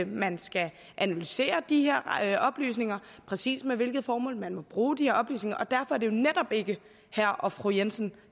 man skal analysere de her oplysninger og præcis med hvilket formål man må bruge de oplysninger og derfor er det jo netop ikke herre og fru jensen